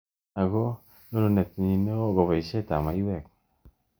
Ako nyonunet nyii ne ooh ko baishet ab maywek.